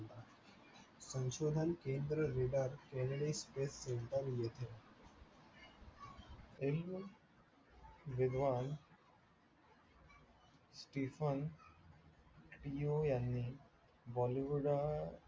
सशोधन केंद space center येथे विद्वान stiffen pone bollywood अ